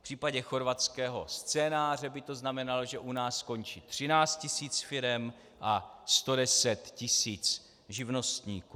V případě chorvatského scénáře by to znamenalo, že u nás skončí 13 tis. firem a 110 tis. živnostníků.